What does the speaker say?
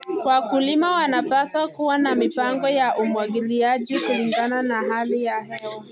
Wakulima wanapaswa kuwa na mipango ya umwagiliaji kulingana na hali ya hewa.